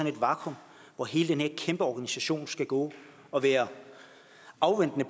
et vakuum hvor hele den her kæmpe organisation skal gå og være afventende